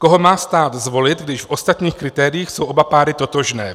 Koho má stát zvolit, když v ostatních kritériích jsou oba páry totožné.